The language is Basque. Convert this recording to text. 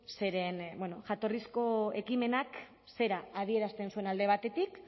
zeren bueno jatorrizko ekimenak zera adierazten zuen alde batetik